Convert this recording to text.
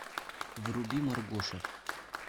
вруби маргоша